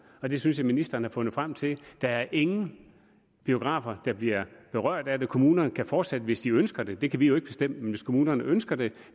og den synes jeg ministeren har fundet frem til der er ingen biografer der bliver berørt af det kommunerne kan fortsat hvis de ønsker det det kan vi jo ikke bestemme men hvis kommunerne ønsker det